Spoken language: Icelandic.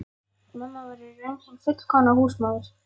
Mamma var í raun hin fullkomna húsmóðir.